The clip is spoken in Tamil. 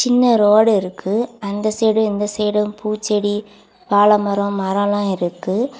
சின்ன ரோடு இருக்கு அந்த சைடு இந்த சைடு பூச்செடி வாழ மரம் மரல எல்லாம் இருக்கு.